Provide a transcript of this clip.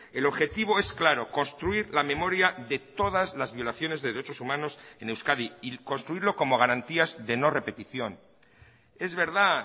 el objetivo es claro construir la memoria de todas las violaciones de derechos humanos en euskadi y construirlo como garantías de no repetición es verdad